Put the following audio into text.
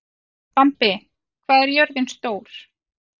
Bambi, hvað er jörðin stór?